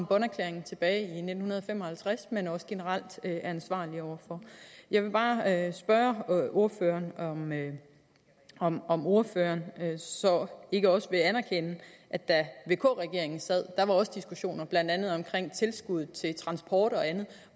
bonn erklæringerne tilbage i nitten fem og halvtreds men også generelt er ansvarlige over for jeg vil bare spørge ordføreren om om ordføreren så ikke også vil anerkende at da vk regeringen sad der var der også diskussioner blandt andet om tilskuddet til transport og andet